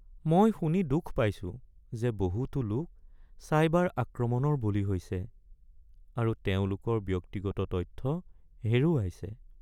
মই শুনি দুখ পাইছো যে বহুতো লোক চাইবাৰ আক্ৰমণৰ বলি হৈছে আৰু তেওঁলোকৰ ব্যক্তিগত তথ্য হেৰুৱাইছে।